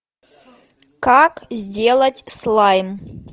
как сделать слайм